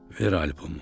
"Ver albomu.